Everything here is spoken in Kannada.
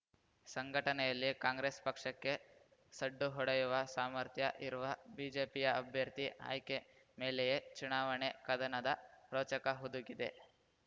ಸಂಘಟನೆಯಲ್ಲಿ ಕಾಂಗ್ರೆಸ್‌ ಪಕ್ಷಕ್ಕೆ ಸಡ್ಡು ಹೊಡೆಯುವ ಸಾಮರ್ಥ್ಯ ಇರುವ ಬಿಜೆಪಿಯ ಅಭ್ಯರ್ಥಿ ಆಯ್ಕೆ ಮೇಲೆಯೇ ಚುನಾವಣೆ ಕದನದ ರೋಚಕ ಹುದುಗಿದೆ